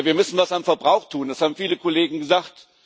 Wir müssen was am Verbrauch tun, das haben viele Kollegen gesagt.